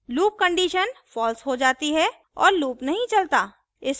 loop condition fails हो जाती है और loop नहीं चलता